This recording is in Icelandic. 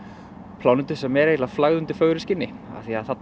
plánetu sem er eiginlega flagð undir fögru skinni því